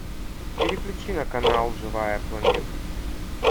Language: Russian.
переключи на канал живая планета